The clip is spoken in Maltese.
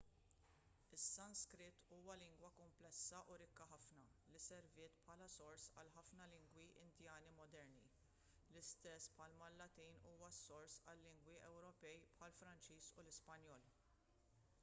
is-sanskrit huwa lingwa kumplessa u rikka ħafna li serviet bħala s-sors għal ħafna lingwi indjani moderni l-istess bħalma l-latin huwa s-sors għal-lingwi ewropej bħall-franċiż u l-ispanjol